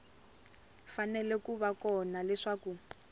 fanele ku va kona leswaku